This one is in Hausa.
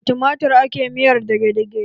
Da tumatir ake miyar dage-dage.